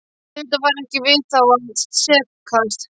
Auðvitað var ekki við þá að sakast.